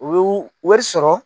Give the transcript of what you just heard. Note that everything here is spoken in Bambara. O y'u wari sɔrɔ.